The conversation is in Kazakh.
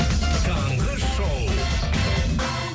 таңғы шоу